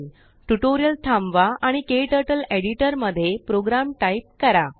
tutorial थांबवा आणिKTurtleएडिटरमध्ये program type करा